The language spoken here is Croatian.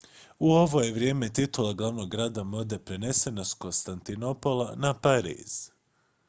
u ovo je vrijeme titula glavnog grada mode prenesena s konstantinopola na pariz